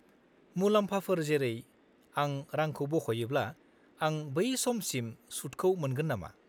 -मुलाम्फाफोर जेरै, आं रांखौ बख'योब्ला, आं बै समसिम सुतखौ मोनगोन नामा?